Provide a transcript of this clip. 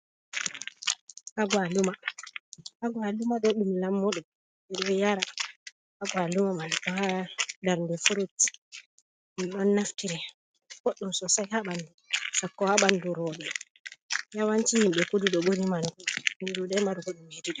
Agwaluma, agwaluma bo ɗum lammuɗum ɓe ɗo yara agwaluma man ma bana furut min ɗon naftire. Boɗɗum soosay ha ɓandu, sakko haa ɓandu rooɓe. Yawanci himɓe kudu ɗo ɓuri marugo ɗum min ɗuuɗay marugo ɗum hedi ɗo.